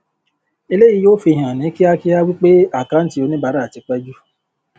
eléyìí yóò fi hàn ní kíákíá wí pé àkáǹtí oníbàárà tí pẹ jù